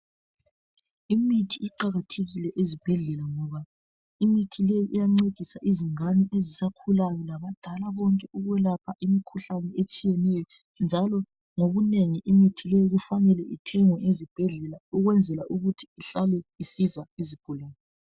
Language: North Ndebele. Imithi iqakathekile ezibhedlela ngoba imithi leyi iyancedisa izingane ezisakhulayo labadala konke, ukwelapha imikhuhlane etshiyeneyo njalo ngokunengi imithi leyi kufanele ithengwe ezibhedlela ukwenzela ukuthi ihlale isiza izigulane.